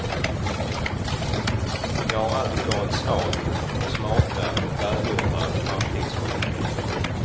Jag har alltid varit svag för smarta och välgjorda framtidsskildringar.